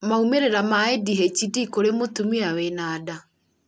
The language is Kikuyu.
maumĩrĩra ma ADHD kũrĩ mũtumia wĩna nda